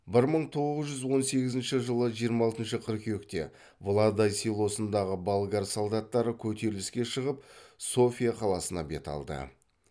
бір мың тоғыз жүз он сегізінші жылы жиырма алтыншы қыркүйекте владай селосындағы болгар солдаттары көтеріліске шығып софия қаласына бет алды